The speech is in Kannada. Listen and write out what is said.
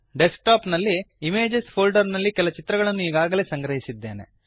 ಡೆಸ್ಕ್ ಟಾಪ್ ನಲ್ಲಿ ಇಮೇಜಸ್ ಫೋಲ್ಡರ್ ನಲ್ಲಿ ಕೆಲ ಚಿತ್ರಗಳನ್ನು ಈಗಾಗಲೇ ಸಂಗ್ರಹಿಸಿದ್ದೇನೆ